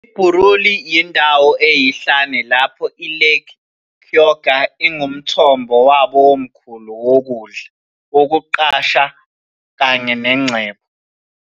IBuruuli yindawo eyihlane lapho iLake Kyoga ingumthombo wabo omkhulu wokudla, wokuqashwa kanye nengcebo.